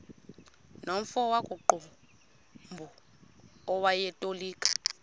nomfo wakuqumbu owayetolika